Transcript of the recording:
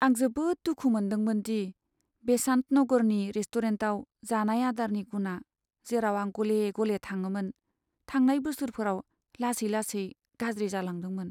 आं जोबोद दुखु मोन्दोंमोन दि बेसान्त नगरनि रेस्टुरेन्टआव जानाय आदारनि गुना, जेराव आं गले गले थाङोमोन, थांनाय बोसोरफोराव लासै लासै गाज्रि जालांदोंमोन।